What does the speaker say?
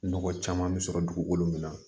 Nɔgɔ caman bɛ sɔrɔ dugukolo min na